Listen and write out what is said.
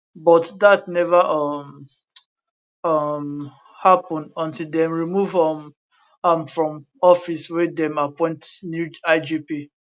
but dat neva um um happun until dem remove um am from office wey dem appoint new igp